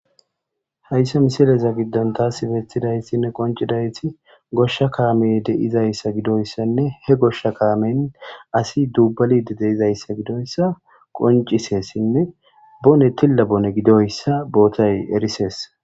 hayssa misileza giddan taasi beeththidaytinne qoncidayti goshsha kaame deizayssa gidoyssanne he goshsha kaamen asi dubbalide deizayssa gidoyssa qoncisessinne bone tilla bone gidoyssa bootay erisees